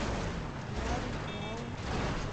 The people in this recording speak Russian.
лари краун аш ди